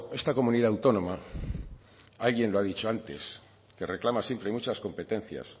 esta comunidad autónoma alguien lo ha dicho antes que reclama siempre muchas competencias